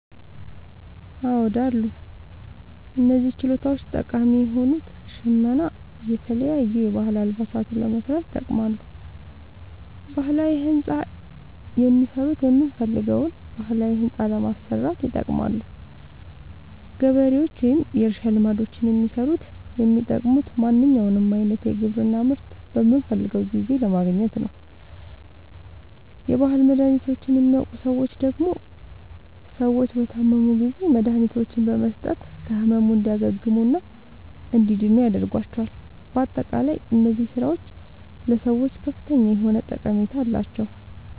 አዎድ አሉ። እነዚህ ችሎታዎች ጠቃሚ የሆኑት ሸመና የተለያዩ የባህል አልባሳትን ለመስራት ይጠቅማሉ። ባህላዊ ህንፃ የሚሠሩት የምንፈልገዉን ባህላዊ ህንፃ ለማሠራት ይጠቅማሉ። ገበሬዎች ወይም የእርሻ ልማዶችን የሚሠሩት የሚጠቅሙት ማንኛዉንም አይነት የግብርና ምርት በምንፈልገዉ ጊዜ ለማግኘት ነዉ። የባህል መድሀኒቶችን የሚያዉቁ ሠዎች ደግሞ ሰዎች በታመሙ ጊዜ መድሀኒቶችን በመስጠት ከህመሙ እንዲያግሙና እንዲድኑ ያደርጓቸዋል። በአጠቃላይ እነዚህ ስራዎች ለሰዎች ከፍተኛ የሆነ ጠቀሜታ አላቸዉ።